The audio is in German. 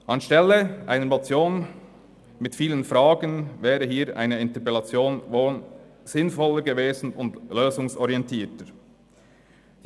Anstelle einer Motion mit vielen Fragen wäre hier eine Interpellation wohl sinnvoller und lösungsorientierter gewesen.